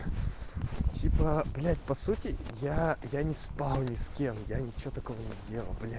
типо блять по сути я я не спал ни с кем я ничего такого не делал бля